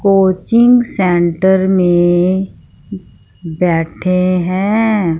Coaching centre में बैठे हैं।